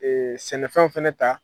Ee sɛnɛfɛn fana ta